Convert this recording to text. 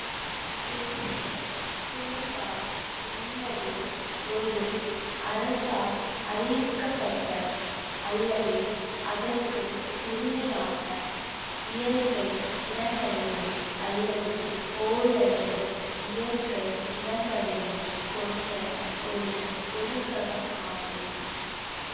தேசிய பூங்கா என்பது ஒரு அரசால் அறிவிக்கப்பட்ட அல்லது அதற்கு உரிமையான இயற்கை நிலங்களையோ அல்லது ஓரளவு இயற்கை நிலங்களையோ கொண்ட ஒரு ஒதுக்ககம் ஆகும்